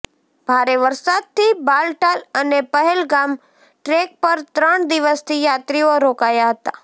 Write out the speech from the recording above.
ભારે વરસાદથી બાલટાલ અને પહેલગામ ટ્રેક પર ત્રણ દિવસથી યાત્રીઓ રોકાયા હતા